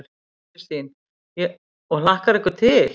Kristín: Og hlakkar ykkur til?